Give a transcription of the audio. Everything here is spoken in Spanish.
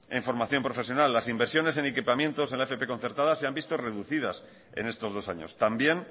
en formación profesional las inversiones en equipamiento en la fp concertada se han visto reducidas en estos dos años también